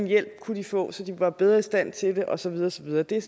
hjælp de kunne få så de var bedre i stand til det og så videre og så videre det er